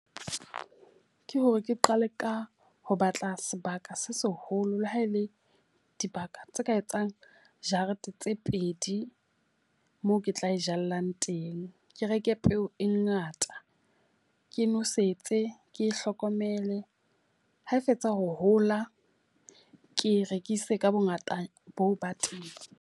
Ke hore ke qale ka ho batla sebaka se seholo le ha e le dibaka tse ka etsang jarete tse pedi moo ke tla jallang teng. Ke reke peo e ngata, ke nosetse ke hlokomele. Ha e fetsa ho hola ke rekise ka bo ngata boo ba teng.